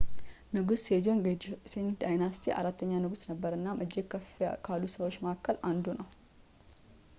ንጉስ ሴጆንግ የ ጆሴን ዳይነስቲይ አራተኛ ንጉስ ነበር እናም እጅግ ከፍ ካሉ ሰዎች መካከል አንዱ ነው